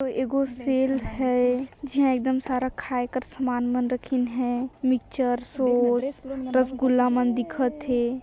एगो सेल है झै एकदम खाए कर सामान मन रखिन है मिकचर सॉस रसगुल्ला मन दीखत हे।